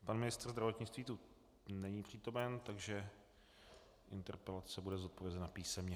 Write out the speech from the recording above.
Pan ministr zdravotnictví tu není přítomen, takže interpelace bude zodpovězena písemně.